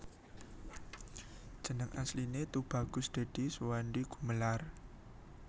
Jeneng Asliné Tubagus Dèdi Suwandi Gumelar